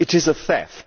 It is a theft.